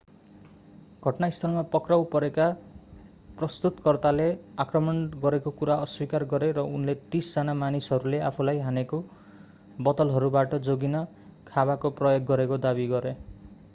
घटनास्थलमा पक्राउ परेका प्रस्तुतकर्ताले आक्रमण गरेको कुरा अस्वीकार गरे र उनले तीस जना मानिसहरूले आफूलाई हानेका बोतलहरूबाट जोगिन खाँबाको प्रयोग गरेको दावी गरे